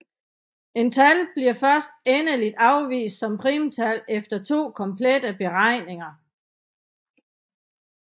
Et tal bliver først endeligt afvist som primtal efter to komplette beregninger